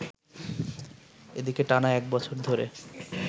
এদিকে টানা একবছর ধরে